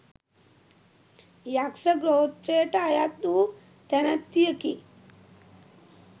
යක්‍ෂ ගෝත්‍රයට අයත් වූ තැනැත්තියකි.